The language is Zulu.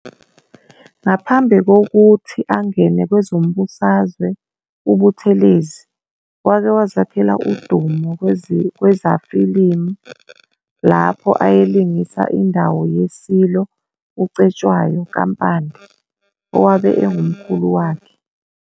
Ngaphambi kokuthi angene kwezombusazwe uButhelezi wake wazakhela udumo kwezafilimu lapho ayelingisa indawo yeSilo uCetshwayo kaMpande, owabe engumkhulu wakhe.